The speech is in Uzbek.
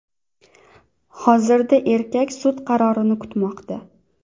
Hozirda erkak sud qarorini kutmoqda.